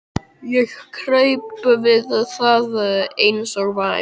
Ég kraup við það eins og væm